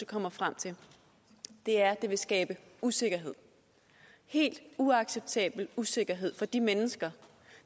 kommer frem til er det vil skabe usikkerhed helt uacceptabel usikkerhed for de mennesker